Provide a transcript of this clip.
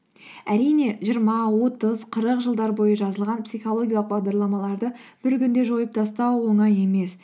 әрине жиырма отыз қырық жылдар бойы жазылған психологиялық бағдарламаларды бір күнде жойып тастау оңай емес